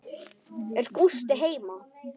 Er Gústi heima?